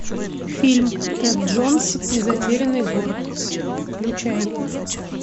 фильм тэд джонс и затерянный город включай